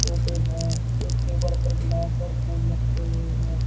है एक टेबल पर गिलास और फूल रखे हुए हैं।